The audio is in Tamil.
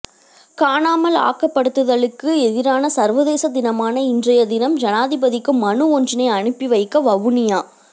காணாமல் ஆக்கப்படுத்தலுக்கு எதிரான சர்வதேச தினமான இன்றைய தினம் ஜனாதிபதிக்கு மனு ஒன்றினை அனுப்பி வைக்க வவுனியா